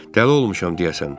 Dəli olmuşam deyəsən.